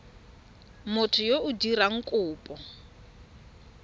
motho yo o dirang kopo